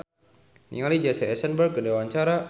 Ireng Maulana olohok ningali Jesse Eisenberg keur diwawancara